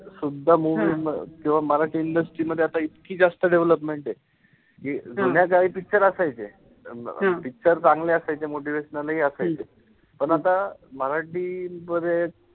सुद्धा movie किंवा Marathi industry मध्ये आता इतकी जास्त development ए. कि जुन्या काळी picture असायचे. अं picture चांगले असायचे, motivational हि असायचे. पण आता मराठी मध्ये,